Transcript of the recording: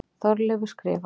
Þorleifur skrifar: